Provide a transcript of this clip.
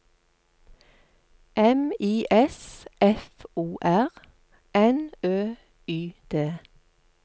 M I S F O R N Ø Y D